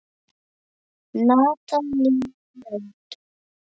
Natalía Nótt.